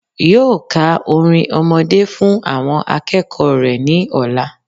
Yóò ka orin ọmọdé fún àwọn akéèkòó rè ní òla